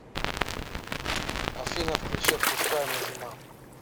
афина включи отпускаю назима